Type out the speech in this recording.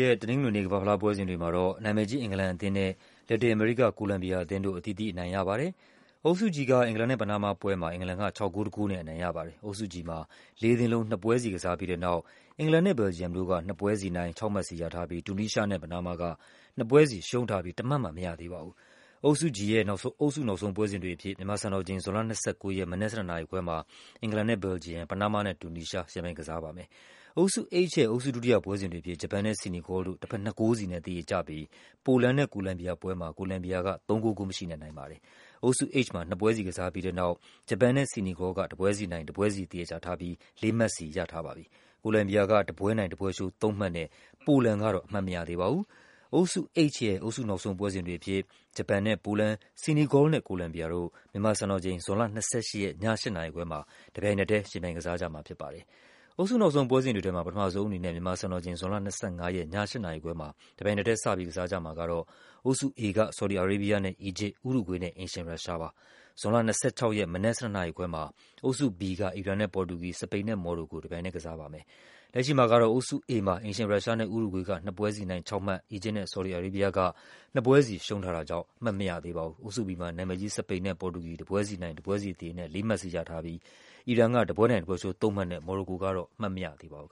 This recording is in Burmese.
ရက် တနင်္ဂနွေနေ့ ကမ္ဘာ့ဖလားပွဲစဉ်တွေမှာတော့ နာမည်ကြီး အင်္ဂလန် အသင်းနဲ့ လက်တင်အမေရိက ကိုလမ်ဘီယာအသင်းတို့ အသီးသီးအနိုင်ရကြပါတယ်။ အုပ်စု G က အင်္ဂလန်နဲ့ ပနားမားပွဲမှာ အင်္ဂလန်က ၆ ဂိုး ၁ ဂိုးနဲ့ အနိုင်ရပါတယ်။ အုပ်စု G မှာ လေးသင်းလုံး နှစ်ပွဲစီကစားပြီးတဲ့နောက် အင်္ဂလန်နဲ့ ဘယ်လ်ဂျီယမ်တို့က နှစ်ပွဲစီနိုင် ၆ မှတ်စီရထားပြီး တူနီးရှားနဲ့ ပနားမားတို့က နှစ်ပွဲစီရှုံးထားပြီး တမှတ်မှ မရသေးပါဘူး။ အုပ်စု G ရဲ့ အုပ်စုနောက်ဆုံးပွဲစဉ်တွေအဖြစ် မြန်မာစံတော်ချိန် ဇွန်လ ၂၉ ရက်၊ မနက် ၁၂ နာရီခွဲမှာ အင်္ဂလန်နဲ့ ဘယ်လ်ဂျီယမ်၊ ပနားမားနဲ့ တူနီးရှားတို့ ယှဉ်ပြိုင် ကစားကြမှာဖြစ် ပါတယ်။ အုပ်စု H ရဲ့ အုပ်စုဒုတိယပွဲစဉ်တွေအဖြစ် ဂျပန်နဲ့ ဆီနီဂေါလ်တို့ တဘက် ၂ ဂိုးစီနဲ့ သရေကျပြီး ပိုလန်နဲ့ ကိုလမ်ဘီယာတို့ပွဲမှာ ကိုလမ်ဘီယာက ၃ ဂိုး ဂိုးမရှိနဲ့ အနိုင်ရပါ တယ်။ အုပ်စု H မှာ နှစ်ပွဲစီကစားပြီးတဲ့နောက် ဂျပန်နဲ့ ဆီနီဂေါလ်တို့က တပွဲစီနိုင်၊ တပွဲစီ သရေ ကျထားပြီး ၄ မှတ်စီရထားပါတယ်။ ကိုလမ်ဘီယာက တပွဲနိုင် တပွဲရှုံး ၃ မှတ်နဲ့ ပိုလန် ကတော့ အမှတ်မရသေးပါဘူး။ အုပ်စု H ရဲ့ အုပ်စုနောက်ဆုံးပွဲစဉ်တွေအဖြစ် ဂျပန်နဲ့ ပိုလန်၊ ဆီနီဂေါလ်နဲ့ ကိုလမ်ဘီယာ တို့ မြန်မာစံတော်ချိန် ဇွန်လ ၂၈ ရက် ည ၈ နာရီခွဲမှာ တပြိုင်နက်ထဲ ယှဉ်ပြိုင် ကစားကြ မှာဖြစ်ပါတယ်။ အုပ်စုနောက်ဆုံးပွဲစဉ်တွေထဲမှာ ပထမဆုံးအနေနဲ့ မြန်မာစံတော်ချိန် ဇွန်လ ၂၅ ရက် ည ၈ နာရီခွဲမှာ တပြိုင်နက်ထဲ စပြီး ကစားကြမှာကတော့ အုပ်စု A က ဆော်ဒီ အာရေးဘီးယား နဲ့ အီဂျစ်၊ ဥရုဂွေးနဲ့ အိမ်ရှင်ရုရှားတို့ဖြစ်ပါတယ်။ ဇွန်လ ၂၆ ရက် မနက် ၁၂ နာရီခွဲမှာ အုပ်စု B က အီရန်နဲ့ ပေါ်တူဂီ၊ စပိန်နဲ့ မော်ရိုကိုတို့ တပြိုင်ထဲ ယှဉ်ပြိုင်ကစားကြမှာဖြစ်ပါ တယ်။ လက်ရှိမှာကတော့ အုပ်စု A မှာ အိမ်ရှင် ရုရှားနဲ့ ဥရုဂွေးတို့က နှစ်ပွဲစီနိုင်၊ ၆ မှတ်စီရ ထားပြီး အီဂျစ်နဲ့ ဆော်ဒီ အာရေးဘီးယားတို့ ကတော့ နှစ်ပွဲစီရှုံးထားတာကြောင့် အမှတ် မရသေးပါဘူး။ အုပ်စု B မှာ နာမည်ကြီး စပိန်နဲ့ ပေါ်တူဂီတို့ တပွဲစီနိုင်၊ တပွဲစီသရေနဲ့ ၄ မှတ်စီရထားပြီး အီရန်က တပွဲနိုင် တပွဲရှုံး ၃ မှတ်နဲ့ မော်ရိုကိုကတော့ အမှတ်မရသေးပါဘူး